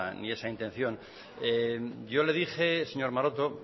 ni esa intención yo le dije señor maroto